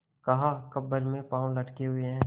कहाकब्र में पाँव लटके हुए हैं